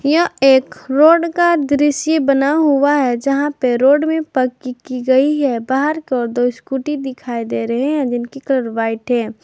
यह एक रोड का दृश्य बना हुआ है जहां पे रोड भी पक्की की गई है बाहर को दो स्कूटी दिखाई दे रहे हैं जिनकी कलर व्हाइट है।